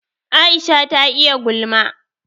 Aisha ta iya gulma